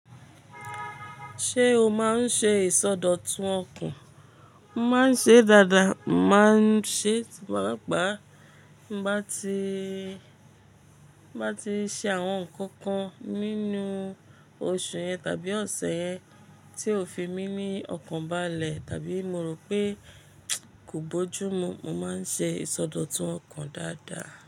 Ṣé o máa ń ṣe ìsọdọ̀tun ọkàn? Mo máa ń ṣe dáadáa, mo máa ń ṣe tí mo bá gbàá bá ti, bá ti ṣe àwọn nǹkan kan nínú oṣù yẹn tàbí ọ̀sẹ̀ yẹn tí ò fi mí ní ọkàn bálẹ̀ tàbí mo rò pé kò bójú mu, mo máa ń ṣe ìsọdọ̀tun ọkàn dáadáa.